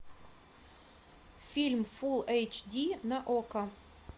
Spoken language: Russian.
фильм фулл эйч ди на окко